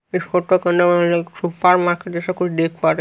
इस फोटो को supermarket जैसा कुछ देख पा रे--